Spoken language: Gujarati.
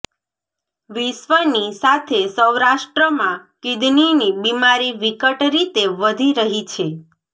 વિશ્ર્વની સાથે સૌરાષ્ટ્રમાં કિડનીની બિમારી વિકટ રીતે વધી રહી છે